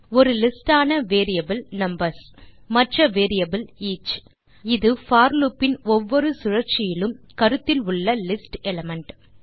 ஒரு லிஸ்ட் ஆன variable numbers மற்ற வேரியபிள் ஈச் இது போர் லூப் இன் ஒவ்வொரு சுழற்சியிலும் கருத்தில் உள்ள லிஸ்ட் எலிமெண்ட்